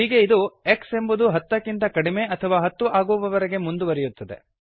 ಹೀಗೆ ಇದು x ಎಂಬುದು ಹತ್ತಕ್ಕಿಂತ ಕಡಿಮೆ ಅಥವಾ ಹತ್ತು ಆಗುವವರೆಗೆ ಮುಂದುವರೆಯುತ್ತದೆ